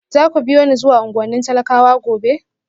Za ku biyo ni zuwa unguwannin talakawa gobe?